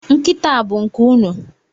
Nkịta a bụ nke unu?